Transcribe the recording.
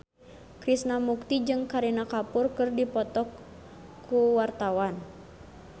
Krishna Mukti jeung Kareena Kapoor keur dipoto ku wartawan